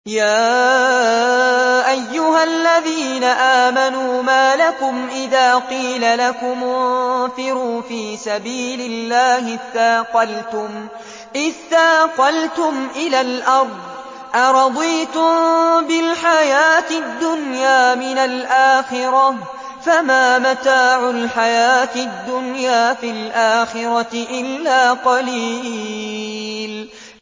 يَا أَيُّهَا الَّذِينَ آمَنُوا مَا لَكُمْ إِذَا قِيلَ لَكُمُ انفِرُوا فِي سَبِيلِ اللَّهِ اثَّاقَلْتُمْ إِلَى الْأَرْضِ ۚ أَرَضِيتُم بِالْحَيَاةِ الدُّنْيَا مِنَ الْآخِرَةِ ۚ فَمَا مَتَاعُ الْحَيَاةِ الدُّنْيَا فِي الْآخِرَةِ إِلَّا قَلِيلٌ